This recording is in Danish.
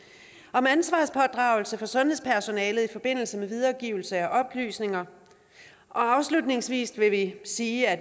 om ansvarspådragelse hos sundhedspersonalet i forbindelse med videregivelse af oplysninger afslutningsvis vil jeg sige at